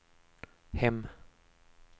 hem